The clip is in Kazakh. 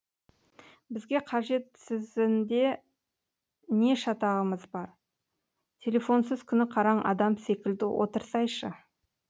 бізге қажетсізінде не шатағымыз бар телефонсыз күні қараң адам секілді отырсайшы